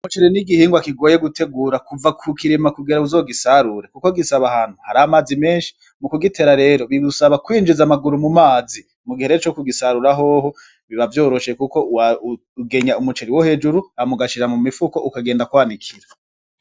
Umuceri ni igihingwa kigoye gutegura kuva ku kirima kugira uzogisarure kuko gisaba ahantu hari amazi menshi ,mu kugitera rero bigusaba kwinjiza amaguru mu mazi mugihe rero cokugisarura hoho biba vyoroshe kuko ugenya umuceri wo hejuru hama ugashira mu mifuko ukagenda kwanikira.